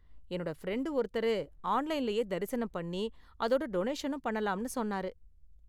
என்னோட ஃப்ரெண்டு ஒருத்தரு ஆன்லைன்லயே தரிசனம் பண்ணி அதோட டொனேஷனும் பண்ணலாம்னு சொன்னாரு.